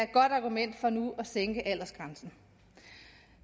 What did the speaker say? godt argument for nu at sænke aldersgrænsen